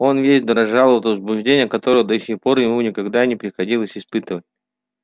он весь дрожал от возбуждения которого до сих пор ему никогда не приходилось испытывать